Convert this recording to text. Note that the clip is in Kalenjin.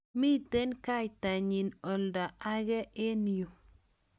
mito kaitanyin oldo age eng' yu